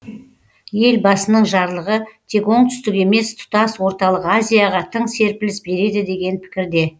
елбасының жарлығы тек оңтүстік емес тұтас орталық азияға тың серпіліс береді деген пікірде